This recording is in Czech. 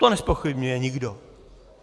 To nezpochybňuje nikdo.